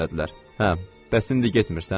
Hə, bəs indi getmirsən?